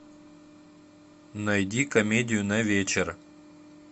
найди комедию на вечер